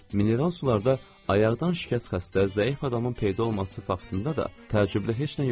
Mineral sularda ayaqdan şikəst xəstə, zəif adamın peyda olması faktında da təəccüblü heç nə yox idi.